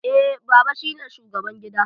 Eh, baba shi ne shugaban gida